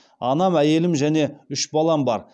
анам әйелім және үш балам бар